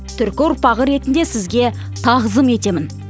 түркі ұрпағы ретінде сізге тағзым етемін